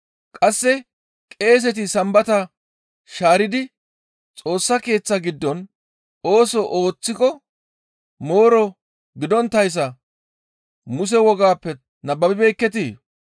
Qasse qeeseti Sambata shaaridi Xoossa Keeththa giddon ooso ooththiko mooro gidonttayssa Muse wogappe nababibeekketii?